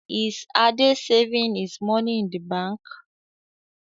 Is Ade saving his money in the bank?